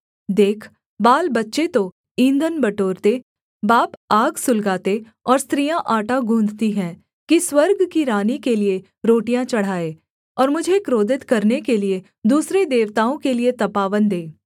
देख बालबच्चे तो ईंधन बटोरते बाप आग सुलगाते और स्त्रियाँ आटा गुँधत‍ी हैं कि स्वर्ग की रानी के लिये रोटियाँ चढ़ाएँ और मुझे क्रोधित करने के लिये दूसरे देवताओं के लिये तपावन दें